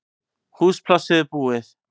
Húsplássið er búið